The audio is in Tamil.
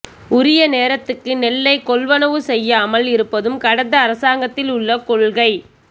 உரிய நேரத்துக்கு நெல்லைக் கொள்வனவு செய்யாமல் இருப்பதும் கடந்த அரசாங்கத்தில் உள்ள கொள்கை